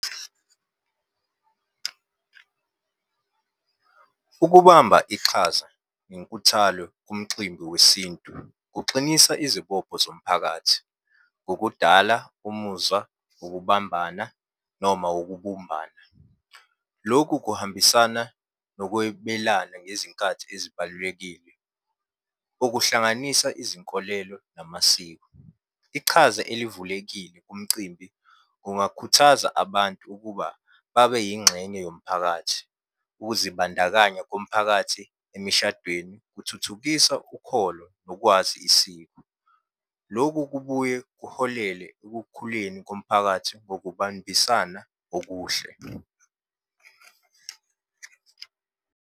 Ukubamba iqhaza nenkuthalo kumximbi wesintu kuxinisa izibopho zomphakathi ngokudala umuzwa wokubambana noma wokubumbana. Lokhu kuhambisana nokwebelana ngezinkathi ezibalulekile, okuhlanganisa izinkolelo namasiko. Ichaza elivulekile kumcimbi kungakhuthaza abantu ukuba babe yingxenye yomphakathi. Ukuzibandakanya komphakathi emishadweni kuthuthukisa ukholo nokwazi isiko. Loku kubuye kuholele ekukhuleni komphakathi Ngokubambisana okuhle.